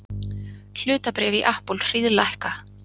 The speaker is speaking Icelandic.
Hlutabréf í Apple hríðlækka